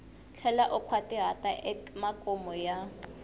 tlhela u nkhwatihata emakumu ka